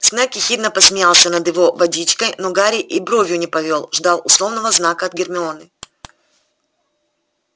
снегг ехидно посмеялся над его водичкой но гарри и бровью не повёл ждал условного знака от гермионы